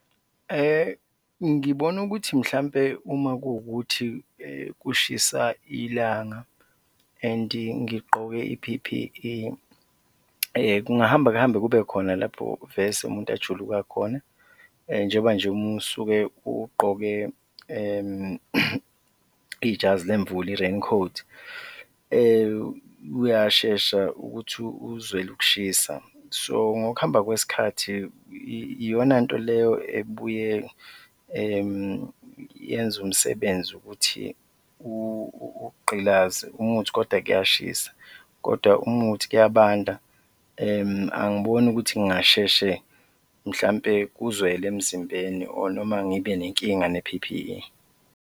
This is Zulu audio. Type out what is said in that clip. Ngibona ukuthi mhlawumbe uma kuwukuthi kushisa ilanga and-i ngigqoke i-P_P_E, kungahamba kuhambe kube khona lapho vese umuntu ajuluka khona, njengoba nje uma usuke ugqoke ijazi lemvula, i-rain coat, uyashesha ukuthi uzwele ukushisa so ngokuhamba kwesikhathi, iyona nto leyo ebuye yenze umsebenzi ukuthi ukugqilazeke uma kuwukuthi kodwa kuyashisa kodwa uma kuwukuthi kuyabanda, angiboni ukuthi ngingasheshe mhlawumbe kuzwele emzimbeni or noma ngibe nenkinga ne-P_P_E.